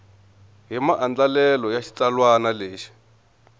hi maandlalelo ya xitsalwana lexi